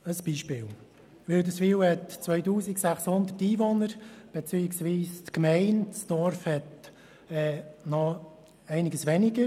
Ein Beispiel: Die Gemeinde Wilderswil hat 2600 Einwohner, das Dorf selber noch etwas weniger.